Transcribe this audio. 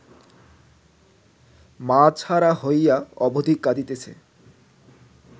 মা ছাড়া হইয়া অবধি কাঁদিতেছে